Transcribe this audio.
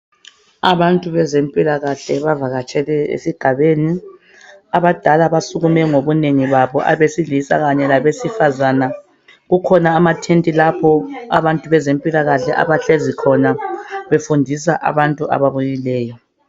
Abantu bezempilakahle bavakatshele esigabeni abadala basukume ngobunengi babo abesilisa kanye labesifazana, kukhona amathenti lapho abantu bezempilakahle abahlezi khona befundisa abantu ababuyileyo.